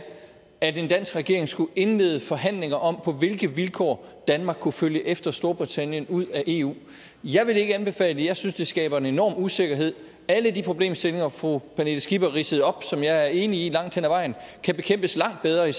at en dansk regering skulle indlede forhandlinger om på hvilke vilkår danmark kunne følge efter storbritannien ud af eu jeg vil ikke anbefale det jeg synes det skaber en enorm usikkerhed alle de problemstillinger fru pernille skipper ridsede op og som jeg er enig i langt hen ad vejen kan bekæmpes langt bedre i